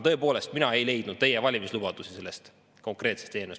Tõepoolest, mina ei leidnud sellest eelnõust teie valimislubadusi.